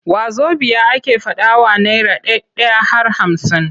Wazobiya ake faɗawa naira ɗai-ɗai har hamsin.